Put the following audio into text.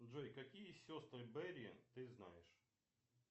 джой какие сестры берри ты знаешь